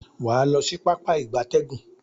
Waa lo si Pápá ìgbatẹ́gùn.